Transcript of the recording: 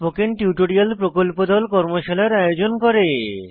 spoken tutorial প্রকল্প দল tutorial ব্যবহার করে কর্মশালার আয়োজন করে